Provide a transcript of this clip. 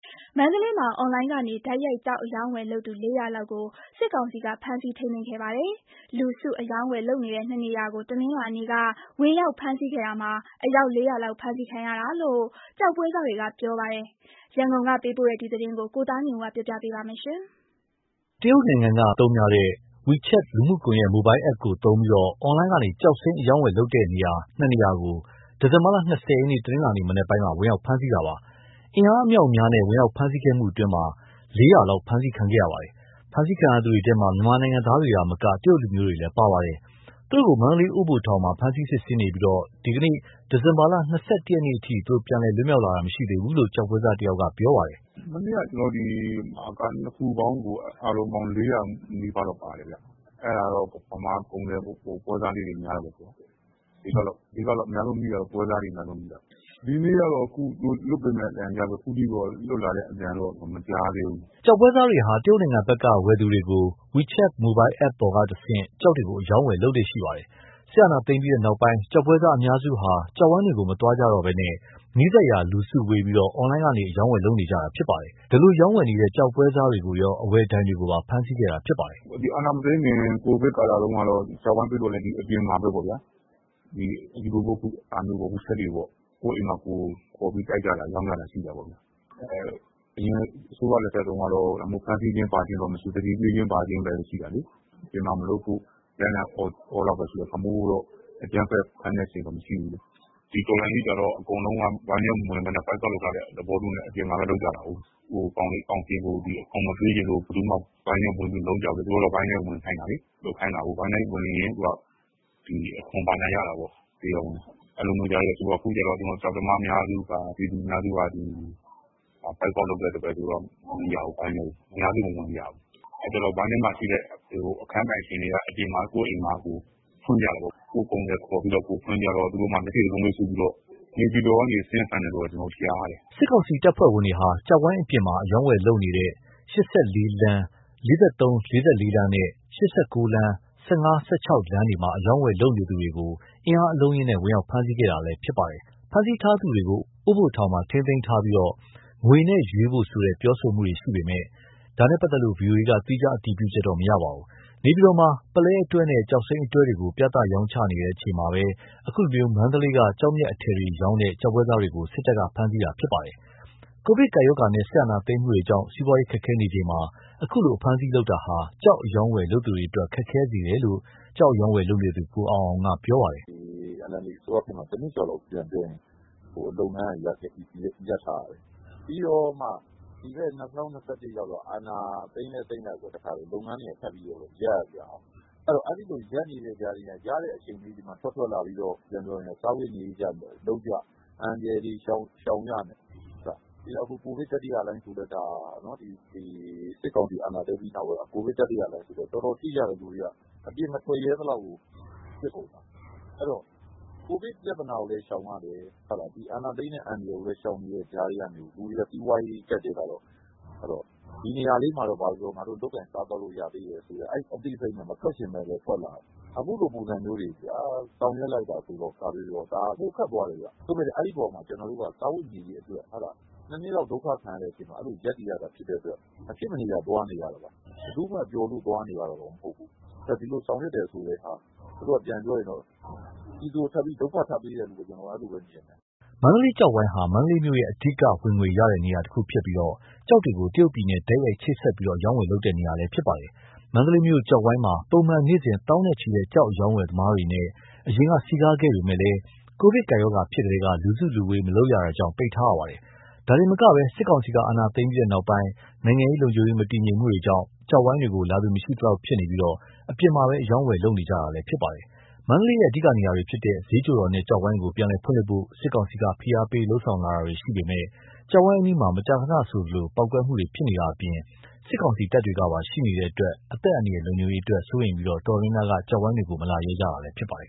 မန္တလေးမှာ အွန်လိုင်းကနေတိုက်ရိုက် ကျောက်အရောင်းအဝယ်လုပ်သူ ၄၀၀ လောက်ကို စစ်ကောင်စီကဖမ်းဆီးထိမ်းသိမ်းခဲ့ပါတယ်။ လူစု အရောင်းအဝယ် လုပ်နေတဲ့ ၂ နေရာကို တနင်္လာနေ့က ဝင်ရောက်ဖမ်းဆီးခဲ့တာမှာ အယောက် ၄၀၀ လောက်ဖမ်းဆီးခံရတာလို့ ကျောက်ပွဲစားတွေက ပြောပါတယ်။ ရန်ကုန်ကပေးပို့တဲ့သတင်းကို ကိုသားညွန့်ဦးက တင်ပြပေးထားပါတယ်။ တရုတ်နိုင်ငံက Message အပြန်အလှန်ပို့သူတွေအသုံးများတဲ့ Wechat လူမှုကွန် ယက် Mobile app ကိုသုံးပြီး အွန်လိုင်းကနေ ကျောက်စိမ်းအရောင်းဝယ်လုပ်နေတဲ့ ၂ နေရာကို ဒီဇင်ဘာ ၂၀ ရက် တနင်္လာနေ့ မနက်ပိုင်းမှာ ဝင်ရောက်ဖမ်းဆီးခဲ့ပါတယ်။ အင်အားအမြောက်အများနဲ့ ဝင်ရောက်ဖမ်းဆီးခဲ့မှုအတွင်း ရာနဲ့ချီဖမ်းဆီးခံခဲ့ရပါတယ်။ ဖမ်းဆီးခံရသူတွေထဲမှာ မြန်မာနိုင်ငံသားတွေသာမက တရုတ်လူမျိုးတွေလည်းပါပါတယ်။ သူတို့ကို မန္တလေး အိုးဘိုထောင်မှာ ဖမ်းဆီးစစ်ဆေးနေပြီးဒီကနေ့ ဒီဇင်ဘာ ၂၁ ရက်အထိ ပြန်လည် လွတ်မြောက်လာသူ မရှိသေးဘူးလို့ ကျောက်ပွဲစားတယောက်က ပြောပြပါတယ်။ “မနေ့က ၂ ခုပေါင်းကို အားလုံးပေါင်း ၄၀၀ နီးပါးလောက် ပါတယ်ခင်ဗျ။ အဲ့ဒါတော့ ဗမာကုန်သည်ပွဲစားလေးတွေ များတာပေါ့။ အဓိက အများဆုံးမိတာ ပွဲစားတွေ အများဆုံးမိတာ။ ဒီနေ့တော့ လွှတ်ပေးမယ်လို့ အသံကြားတယ်။ အခုထိတော့ လွတ်လာတဲ့ အသံတော့ မကြားသေးဘူး။” ကျောက်ပွဲစားတွေဟာ တရုတ်နိုင်ငံဘက်က ဝယ်သူတွေကို Wechat mobile app ပေါ်ကတဆင့် ကျောက်တွေကို အရောင်းအဝယ်လုပ်လေ့ရှိပါတယ်။ စစ်အာဏာသိမ်းပြီးနောက်ပိုင်း ကျောက်ပွဲစားအများစုဟာ ကျောက်ဝိုင်းတွေကို မသွားကြတော့ဘဲ နီးစပ်ရာ လူစုဝေးပြီး အွန်လိုင်းကနေ အရောင်းအဝယ်လုပ်နေကြတာဖြစ်ပါတယ်။ အဲဒီလိုရောင်းဝယ်နေတဲ့ ကျောက်ပွဲစားတွေကိုရော အဝယ်ဒိုင်တွေကိုပါ ဖမ်းဆီးခဲ့တာဖြစ်ပါတယ်။ “အာဏာမသိမ်းခင် ကိုဗစ်ကာလတုန်းကလည်း အပြင်မှာပဲပေါ့၊ အခုလို Wechat တွေပေါ့။ ကိုယ့်အိမ်မှာ ကိုယ်ခေါ်ပြီး ရောင်းကြတာ ရှိတာပေါ့။ အရင်အစိုးရလက်ထက်တုန်းက ဖမ်းဆီးတာ ဘာညာမရှိဘူး။ သတိပေးခြင်းဘာခြင်းပဲ ရှိတာလေ။ အပြင်မှာမလုပ်ဖို့ လိုက်လံအော်တာတော့ရှိတယ်။ ဒီလိုမျိုးအကြမ်းဖက် ဖမ်းတဲ့အဆင့်တော့မရှိဘူး။ ဒီတော်လှန်ရေးကြတော့ အကုန်လုံးက ဝိုင်းထဲမဝင်ဘဲ Boycott လုပ်ထားတဲ့သဘောမျိုးနဲ့ အပြင်မှာပဲ လုပ်ကြတာကို။ ကောင်စီကို အခွန် မပေးချင်လို့ ဘယ်သူမှ ဝိုင်းထဲဝင်ပြီး မလုပ်ကြဘူးလေ။ သူတို့က ဝိုင်းထဲဝင်ခိုင်းတာလေ။ ဝိုင်းထဲဝင်ရင် အခွန်ဘာညာရတာကို။ အခုကျတော့ ကျောက်သမား အများစုက ပြည်သူအများစုက Boycott လုပ်တော့ မဝင်ကြဘူး။ ဝိုင်းထဲကို အများစုမဝင်ကြဘူး။ အဲ့တော့ ဝိုင်းထဲမှာရှိတဲ့ အခန်းပိုင်ရှင်အများစုက ကိုယ့်အိမ်မှာကိုယ် လုပ်ကြတာပေါ့။ ကိုယ့်ကုန်သည်ကိုယ်ခေါ်ပြီး ဖွင့်ကြတော့ သူတို့မှာ မျက်စိစပါးမွှေးစူးပြီးတော့ နေပြည်တော်ကနေ ဆင်းဖမ်းတယ်လို့ ကြားတယ်။” စစ်ကောင်စီတပ်ဖွဲ့ဝင်တွေဟာ ၈၄ လမ်း ၄၃-၄၄ လမ်းနဲ့ ၈၉ လမ်း ၁၅-၁၆ ကြားမှာ ကျောက်ဝိုင်းပြင်ပ အရောင်းအဝယ်လုပ်နေသူတွေကို အင်အားအလုံးအရင်းနဲ့ ဝင်ရောက်ဖမ်းဆီးခဲ့တာလည်း ဖြစ်ပါတယ်။ ဖမ်းဆီးထားသူတွေကို အိုးဘိုထောင် မှာ ထိန်းသိမ်းထားပြီး ငွေနဲ့ရွေးဖို့ဆိုတဲ့ ပြောတာတွေရှိပေမယ့် ဒါနဲ့ပတ်သက်လို့ ဗွီအိုအေက သီးခြားအတည်ပြုချက်တော့မရပါဘူး။ နေပြည်တော်မှာ ပုလဲအတွဲနဲ့ ကျောက်စိမ်းအတွဲတွေကို ပြသရောင်းချပွဲ လုပ်နေချိန်မှာပဲ ခုလို မန္တလေးက ကျောက်မျက်အထည်တွေရောင်းတဲ့ ကျောက်ပွဲစားတွေကို စစ်တပ်က ဖမ်းဆီးခဲ့တာဖြစ်ပါတယ်။ ကိုဗစ်ကပ်ရောဂါနဲ့ စစ်အာဏာသိမ်းမှုကြောင့် စီးပွားရေးခက်ခဲနေချိန်မှာ အခုလိုအဖမ်းအဆီးလုပ်တာဟာ ကျောက်အရောင်းအဝယ် လုပ်သူတွေအတွက် ခက်ခဲစေတယ်လို့ ကျောက်အရောင်အဝယ်လုပ်နေသူ ကိုအောင်အောင်က ပြောပါတယ်။ “NLD အစိုးရခေတ်မှာ ၁ နှစ်ကျော်လောက် လုပ်ငန်းက ရပ်ထားရတယ်။ ပြီးတော့မှ ဒီဘက် ၂၀၂၁ ရောက်တော့ အာဏာသိမ်းလည်းသိမ်းလိုက်ကော လုပ်ငန်းတွေက ထပ်ပြီးတော့ ရပ်ရပြန်ကော။ အဲ့ဒီလို ရပ်နေတဲ့အချိန်လေးမှာ ရတဲ့အချိန်လေး ထွက်လာပြီးတော့ စားဝတ်နေရေးအတွက် လုပ်ကြ၊ အန္တရာယ်တွေ ရှောင်ကြနဲ့ အခု စစ်ကောင်စီအာဏာသိမ်းပြီးနောက်ပိုင်း ကိုဗစ် တတိယလှိုင်းဆိုတော့ လူတွေ တော်တော်ထိကြတယ်။ အပြင်မထွက်ရဲသလောက်ကို ဖြစ်ကုန်တာ။ အဲ့တော့ ကိုဗစ် ပြသာနာကိုလည်း ရှောင်ရတယ်။ အာဏာသိမ်းတဲ့ အန္တရာယ်ကိုလည်း ရှောင်နေတဲ့ကြားကနေ လူတွေက စီးပွားရေးကြပ်တည်းလာတော့ ဘာပဲပြောပြော ဒီနေရာလေးမှာတော့ လုပ်လို့ရသေးတယ်ဆိုတဲ့ အဲဒီအသိစိတ်နဲ့ မထွက်ချင်ပဲလည်း ထွက်လာရတယ်။ အခုလိုပုံစံမျိုးတွေ ဆောင်ရွက်လိုက်တာဆိုတော့ ဒါကပိုခက် သွားတယ်ခင်ဗျ။ စားဝတ်နေရေးအတွက် ၂ နှစ်လောက် ဒုက္ခခံပြီး ရပ်တည်ရတာဖြစ်တဲ့အတွက် မဖြစ်မနေသွားနေရတာ ဘယ်သူမှ ပျော်လို့သွားနေရတာတော့မဟုတ်ဘူး။ ဒီလိုဆောင်ရွက်တယ်ဆိုတာ ပြည်သူကို ဒုက္ခထပ်ပေးတယ်လို့ပဲမြင်တယ်။” မန္တလေး ကျောက်ဝိုင်းဟာ မန္တလေးမြို့ရဲ့ အဓိက ဝင်ငွေရရှိတဲ့နေရာ တနေရာဖြစ်ပြီး ကျောက်တွေကို တရုတ်ပြည်နဲ့ တိုက်ရိုက်ချိတ်ဆက်ပြီး အရောင်းအဝယ်ပြုလုပ်တဲ့နေရာလည်းဖြစ်ပါတယ်။ မန္တလေးမြို့ ကျောက်ဝိုင်းမှာ ပုံမှန် နေ့စဉ် သောင်းနဲ့ချီတဲ့ ကျောက်အရောင်းအဝယ်သမားတွေနဲ့ အရင်က စည်ကားခဲ့ပေမဲ့ ကိုဗစ်ကပ်ရောဂါဖြစ်ထဲက လူစုလူဝေး မလုပ်ရတာကြောင့် ပိတ်ထားရပါတယ်။ ဒါတင်မက စစ်ကောင်စီက အာဏာသိမ်းပြီးနောက်ပိုင်း နိုင်ငံရေး၊ လုံခြုံရေး မတည်ငြိမ်မှုတွေကြောင့် ကျောက်ဝိုင်းတွေကို လာသူ မရှိသလောက်ဖြစ်နေပြီး အပြင်မှာသာ အရောင်းအဝယ်ပြုလုပ်နေကြတာလည်း ဖြစ်ပါတယ်။ မန္တလေးရဲ့ အဓိကနေရာတွေဖြစ်တဲ့ ဈေးချိုတော်နဲ့ ကျောက်ဝိုင်းကို ပြန်လည်ဖွင့်လှစ်ဖို့ စစ်ကောင်စီက ဖိအားပေးလုပ်ဆောင်လာတာတွေရှိပေမယ့် ကျောက်ဝိုင်းအနီးမှာ မကြာခဏဆိုသလို ပေါက်ကွဲမှုတွေ ဖြစ်နေတာအပြင် စစ်ကောင်စီတပ်တွေကပါ ရှိနေတဲ့အတွက် အသက်အန္တရာယ် လုံခြုံရေးအတွက် စိုးရိမ်ပြီး တော်တော်များများက မလာရဲကြတာလည်းဖြစ်ပါတယ်